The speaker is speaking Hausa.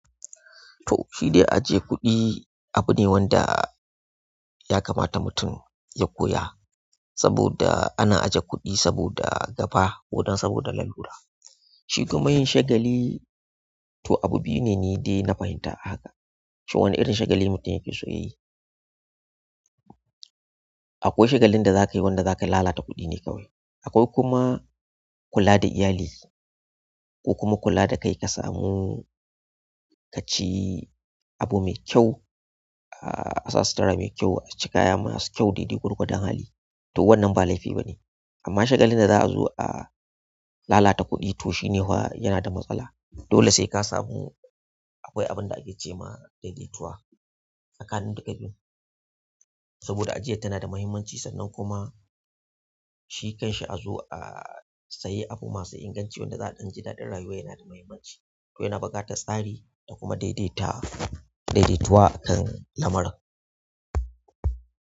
To, shidai ajiyar kuɗi abu ne wanda ya kamata mutum ya koya saboda ana ajiye kuɗi saboda gaba ko dan saboda lalura. Shi kuma yin shagali to abu biyu ne nidai na fahimta haka. Shin wane irin shagali mutum ya fi so ya yi? Akwai shagalin da za kai wanda za ka lalata kudu ne kawai. Akwai kuma kula da iyali ko kuma kula da kai ka samu ka ci abu mai kyau, asa sittira mai kyau, ka ci kaya masu kyau daidai gwargwadon hali. To wannan ba laifi ba ne. Amma shagalin da za a zo a lalata kuɗi to shine fa yana da matsala. Dole sai ka samu akwai abin da ake ce ma daidaituwa tsakanin duka biyun saboda ajiyar tana da mahimmanci sannan kuma shi kan shi a zo a sayi abu masu inganci wanda za a ɗan ji daɗin rayuwar yana da mahimmanci. To yana buƙatar tsari da kuma daidaita daidaituwa akan lamarin.